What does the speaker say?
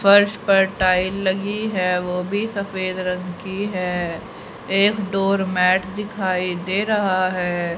फर्श पर टाइल लगी है। ओ भी सफेद रंग की है। एक डोर मैट दिखाई दे रहा है।